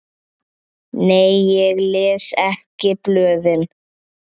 Nei ég les ekki blöðin.